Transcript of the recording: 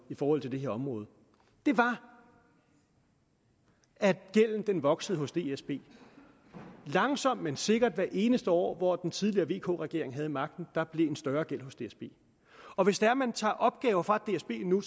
forhold til det her område var at gælden voksede hos dsb langsomt men sikkert hvert eneste år hvor den tidligere vk regering havde magten der en større gæld hos dsb og hvis det er man tager opgaver fra dsb nu